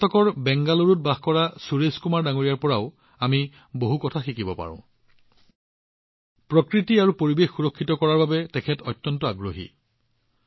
কৰ্ণাটকৰ বাংগালুৰুত বাস কৰা সুৰেশ কুমাৰজীৰ পৰাও আমি বহু কথা শিকিব পাৰোঁ প্ৰকৃতি আৰু পৰিৱেশ সুৰক্ষিত কৰাৰ বাবে তেওঁৰ যথেষ্ট আগ্ৰহ আছে